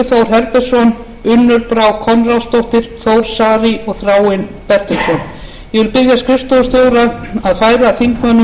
herbertsson unnur brá konráðsdóttir þór saari og þráinn bertelsson ég vil biðja skrifstofustjóra að færa þingmönnum heitstafinn til undirritunar